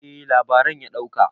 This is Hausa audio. eh labaran ya dauka